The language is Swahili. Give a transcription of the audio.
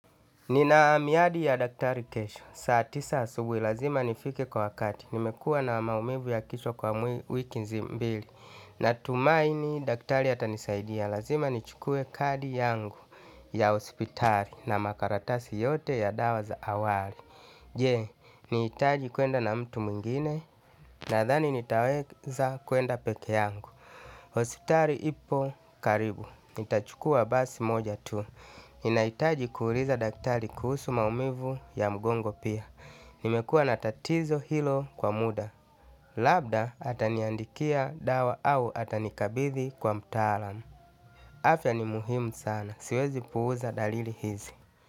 Ninaamiadi ya daktari kesho. Saatisa asubui lazima nifike kwa wakati. Nimekua na maumivu ya kichwa kwa mwili wiki mbili. Natumaini daktari atanisaidia. Lazima nichukue kadi yangu ya ospitari na makaratasi yote ya dawaza awali. Je, ni itaji kuenda na mtu mwingine na thani nitaweza kuenda peke yangu. Hositari ipo karibu, itachukua basi moja tu ninahitaji kuuliza daktari kuhusu maumivu ya mgongo pia. Nimekua natatizo hilo kwa muda. Labda ataniandikia dawa au atanikabithi kwa mtalaam afya ni muhimu sana siwezu puuza dalili hizi.